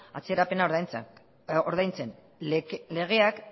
atzerapena ordaintzen legeak